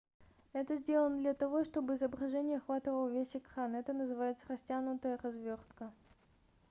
это сделано для того чтобы изображение охватывало весь экран это называется растянутая развёртка